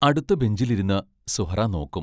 അടുത്ത ബഞ്ചിൽ ഇരുന്ന് സുഹ്റാ നോക്കും.